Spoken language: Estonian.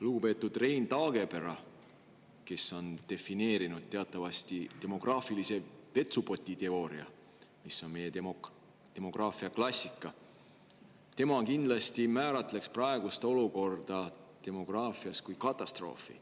Lugupeetud Rein Taagepera, kes on teatavasti defineerinud demograafilise vetsupoti teooria, mis on meie demograafia klassika, kindlasti määratleks praegust olukorda demograafias kui katastroofi.